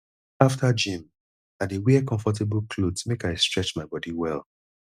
after gym i dey wear comfortable clothes make i stretch my body well